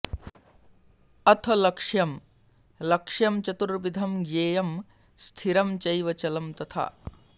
अथ लक्ष्यम् लक्ष्यं चतुर्विधं ज्ञेयं स्थिरं चैव चलं तथा